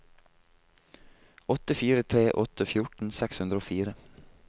åtte fire tre åtte fjorten seks hundre og fire